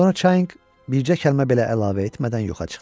Sonra Çianq bircə kəlmə belə əlavə etmədən yoxa çıxdı.